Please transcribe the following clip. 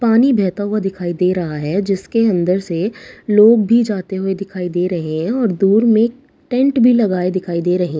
पानी बहता हुआ दिखाई दे रहा है जिसके अंदर से लोग भी जाते हुए दिखाई दे रहे हैं और दूर में एक टेंट भी लगा है दिखाई दे रहे हैं।